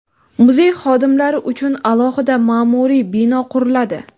muzey xodimlari uchun alohida ma’muriy bino quriladi.